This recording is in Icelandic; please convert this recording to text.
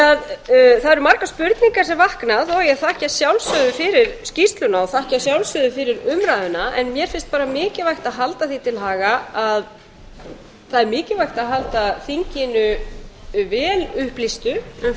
út það eru margar spurningar sem vakna þó að ég þakki að sjálfsögðu fyrir skýrsluna og umræðuna mér finnst mikilvægt að halda því til haga að það er mikilvægt að halda þinginu vel upplýstu um